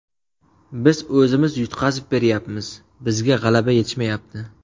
Biz o‘zimiz yutqazib beryapmiz, bizga g‘alaba yetishmayapti.